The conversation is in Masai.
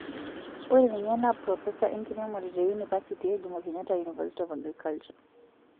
Ore ninye naa propesa enkiremore te unipersity e jomo kenyatta university of agriculture.